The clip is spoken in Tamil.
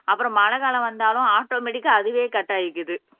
அப்புறம் மழை காலம் வந்தாலும் ஆட்டோமேட்டிக்க அதுவே கட் ஆயிக்குது